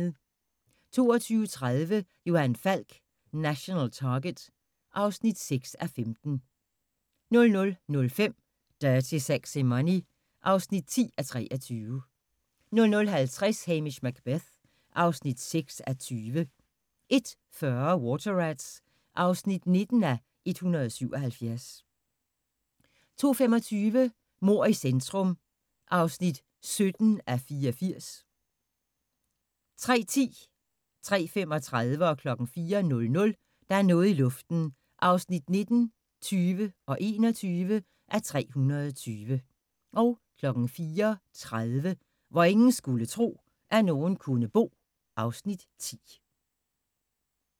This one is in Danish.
22:30: Johan Falk: National Target (6:15) 00:05: Dirty Sexy Money (10:23) 00:50: Hamish Macbeth (6:20) 01:40: Water Rats (19:177) 02:25: Mord i centrum (17:84) 03:10: Der er noget i luften (19:320) 03:35: Der er noget i luften (20:320) 04:00: Der er noget i luften (21:320) 04:30: Hvor ingen skulle tro, at nogen kunne bo (Afs. 10)